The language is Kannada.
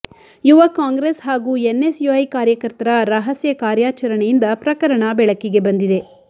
ಯುವ ಕಾಂಗ್ರೆಸ್ ಹಾಗೂ ಎನ್ಎಸ್ ಯುಐ ಕಾರ್ಯಕರ್ತರ ರಹಸ್ಯ ಕಾರ್ಯಾಚರಣೆಯಿಂದ ಪ್ರಕರಣ ಬೆಳಕಿಗೆ ಬಂದಿದೆ